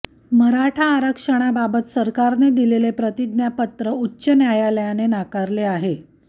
मराठा आरक्षणाबाबत सरकारने दिलेले प्रतिज्ञापत्र उच्च न्यायालयाने नाकारले आहे